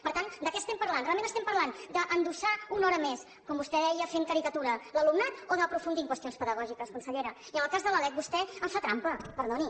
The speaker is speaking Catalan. per tant de què estem parlant realment estem parlant d’endossar una hora més com vostè deia fent caricatura a l’alumnat o d’aprofundir en qüestions pedagògiques consellera i en el cas de la lec vostè em fa trampa perdoni